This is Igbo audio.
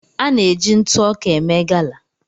À na-eji ntụ ọka eme gala.